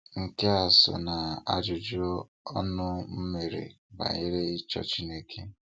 Nke a so n'ajụjụ ọnụ m mere banyere ịchọ Chineke.